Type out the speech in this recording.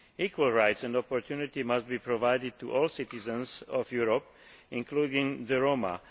Equal rights and opportunities must be provided to all citizens of Europe, including the Roma.